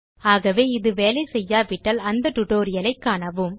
ஆகவே இது வேலை செய்யாவிட்டால் அந்த டியூட்டோரியல் ஐ காணவும்